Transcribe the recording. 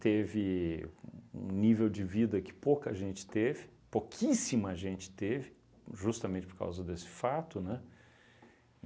Teve um um nível de vida que pouca gente teve, pouquíssima gente teve, justamente por causa desse fato, né?